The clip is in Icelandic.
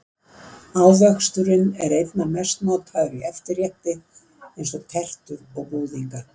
Ávöxturinn er einna mest notaður í eftirrétti eins og tertur og búðinga.